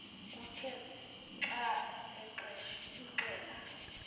uthe xa axela